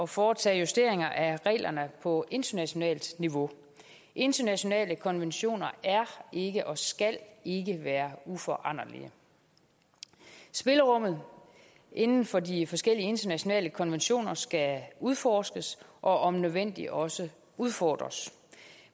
foretage justeringer af reglerne på internationalt niveau internationale konventioner er ikke og skal ikke være uforanderlige spillerummet inden for de forskellige internationale konventioner skal udforskes og om nødvendigt også udfordres